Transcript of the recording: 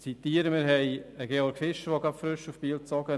Die Georg Fischer AG ist frisch nach Biel gezogen.